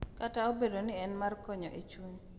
Kata obedo ni en mar konyo e chuny,